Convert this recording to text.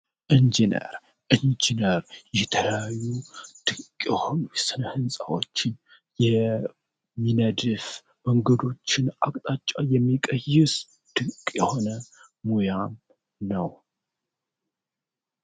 እንጂነር እንጂነር የተያዩ ድንቅ የሆኑ ስነ ሕንፃዎችን የሚነድፍ መንገዶችን አቅጣጫው የሚቀይስ ድንቅ የሆነ ሙያም ነው።